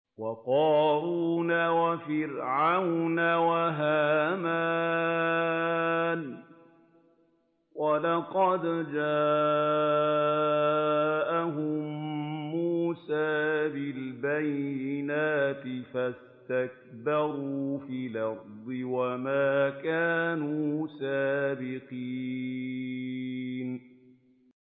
وَقَارُونَ وَفِرْعَوْنَ وَهَامَانَ ۖ وَلَقَدْ جَاءَهُم مُّوسَىٰ بِالْبَيِّنَاتِ فَاسْتَكْبَرُوا فِي الْأَرْضِ وَمَا كَانُوا سَابِقِينَ